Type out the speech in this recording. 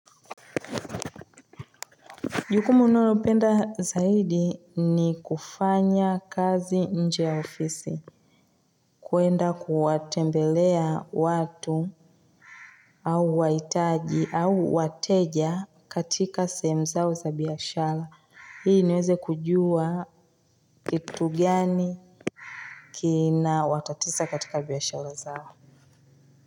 Jukumu ninayo penda zaidi ni kufanya kazi nje ya ofisi. Kuenda kuwatembelea watu au wahitaji au wateja katika sehemu zao za biashara. Ili niweze kujua kitu gani kina watatiza katika biashara zao.